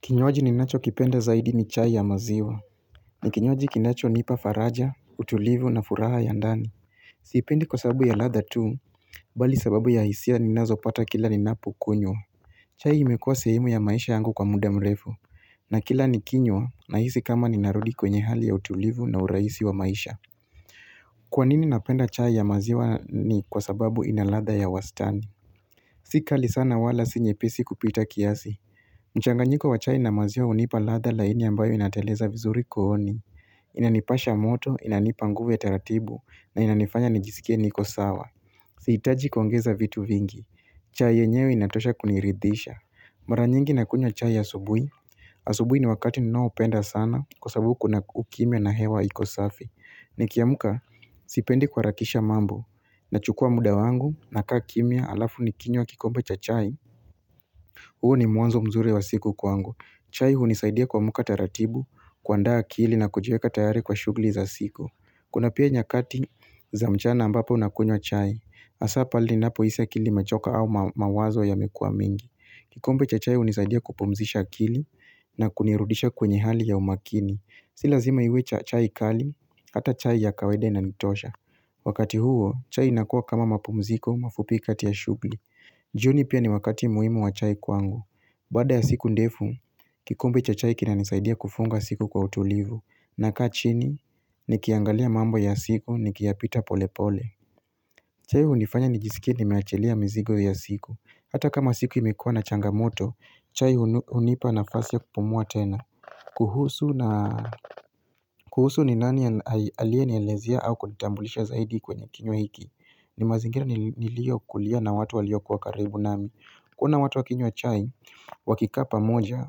Kinywaji ninachokipenda zaidi ni chai ya maziwa ni kinywaji kinachonipa faraja, utulivu na furaha ya ndani siipendi kwa sababu ya ladha tu Bali sababu ya hisia ninazopata kila ninapokunywa. Chai imekua sehemu ya maisha yangu kwa muda mrefu na kila nikinywa nahisi kama ninarudi kwenye hali ya utulivu na urahisi wa maisha. Kwa nini napenda chai ya maziwa ni kwa sababu ina ladha ya wastani Si kali sana wala si nyepesi kupita kiasi mchanganyiko wa chai na maziwa hunipa ladha laini ambayo inateleza vizuri kooni Inanipasha moto, inanipa nguvu ya taratibu na inanifanya nijisikie niko sawa Sihitaji kuongeza vitu vingi chai yenyewe inatosha kuniridisha Mara nyingi nakunywa chai asubuhi Asubuhi ni wakati ninoapenda sana kwa sababu kuna ukimya na hewa iko safi. Nikiamka sipendi kuharakisha mambo Nachukua muda wangu, nakaa kimya halafu nikinywa kikombe cha chai huu ni mwanzo mzuri wa siku kwangu. Chai hunisaidia kuamka taratibu, kuandaa akili na kujiweka tayari kwa shughuli za siku. Kuna pia nyakati za mchana ambapo nakunywa chai. Hasa pale ninapohisi akili imechoka au mawazo yamekuwa mingi. Kikombe cha chai hunisaidia kupumzisha akili na kunirudisha kwenye hali ya umakini. Si lazima iwe chai kali, hata chai ya kawaida inanitosha. Wakati huo, chai inakua kama mapumziko mafupi kati ya shughuli. Jioni pia ni wakati muhimu wa chai kwangu Baada ya siku ndefu, kikombe cha chai kinanisaidia kufunga siku kwa utulivu. Nakaa chini, nikiangalia mambo ya siku, nikiyapita pole pole. Chai hunifanya nijisikie nimeachelia mzigo ya siku. Hata kama siku imekuwa na changamoto, chai hunipa nafasi ya kupumua tena kuhusu ni nani aliyenielezea au kunitambulisha zaidi kwenye kinywa hiki ni mazingira niliyokulia na watu walio kuwa karibu nami kuona watu wakinywa chai, wakikaa pamoja,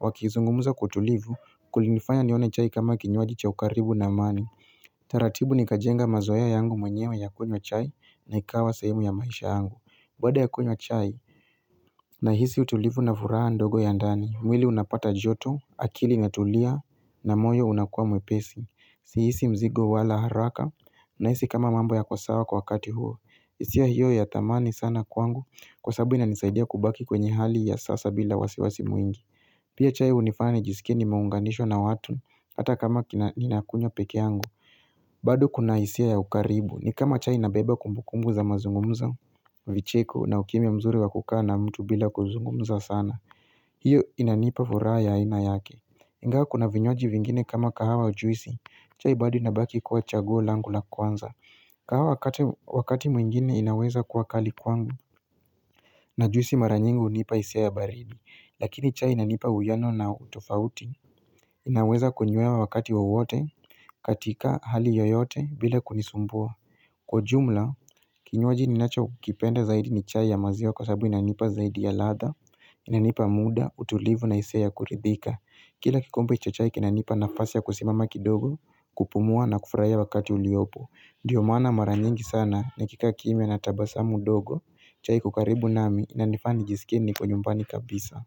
wakizungumza kwa utulivu, kulinifanya nione chai kama kinywaji cha ukaribu na amani. Taratibu nikajenga mazoea yangu mwenyewe ya kunywa chai na ikawa sehemu ya maisha yangu. Baada ya kunywa chai, nahisi utulivu na furaha ndogo ya ndani. Mwili unapata joto, akili inatulia, na moyo unakuwa mwepesi. Sihisi mzigo wala haraka, nahisi kama mambo yako sawa kwa wakati huo. Hisia hiyo ya thamani sana kwangu kwa sababu inanisaidia kubaki kwenye hali ya sasa bila wasiwasi mwingi. Pia chai hunifanya nijisikie nimeunganishwa na watu hata kama kina, ninakunywa peke yangu. Bado kuna hisia ya ukaribu. Ni kama chai inabeba kumbukumbu za mazungumzo, vicheko na ukimya mzuri wa kukaa na mtu bila kuzungumza sana. Hiyo inanipa furaha ya aina yake Ingawa kuna vinywaji vingine kama kahawa au juisi chai bado inabaki kuwa chaguo langu la kwanza kahawa wakati mwingine inaweza kuwa kali kwangu, na juisi mara nyingi hunipa hisia ya baridi. Lakini chai inanipa uwiano na utofauti. Inaweza kuunywea wakati wawote katika hali yoyote bila kunisumbua. Kwa ujumla, kinywaji ninachokipenda zaidi ni chai ya maziwa kwa sababu inanipa zaidi ya ladha. Inanipa muda, utulivu na hisia ya kuridhika. Kila kikombe cha chai kinanipa nafasi ya kusimama kidogo, kupumua na kufurahia wakati uliopo. Ndiyo maana mara nyingi sana nikikaa kimya na tabasamu dogo, chai iko karibu nami, inanifaa nijisikie niko nyumbani kabisa.